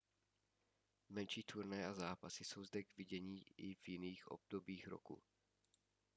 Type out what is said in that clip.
menší turnaje a zápasy jsou zde k vidění i v jiných obdobích roku